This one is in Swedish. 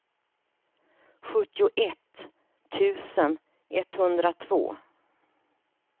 sjuttioett tusen etthundratvå